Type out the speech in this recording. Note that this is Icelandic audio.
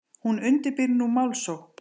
Hún undirbýr nú málsókn.